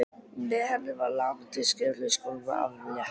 Með henni var lamandi syfju í skólanum aflétt.